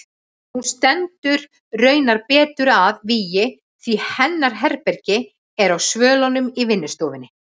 Hún stendur raunar betur að vígi því hennar herbergi er á svölunum í vinnustofunni.